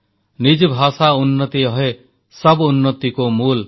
ନିଜ ଭାଷା ଉନ୍ନତି ଅହେ ସବ୍ ଉନ୍ନତିକୋ ମୂଲ୍